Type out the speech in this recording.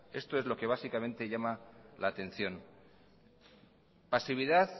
esto es lo que básicamente llama la atención pasividad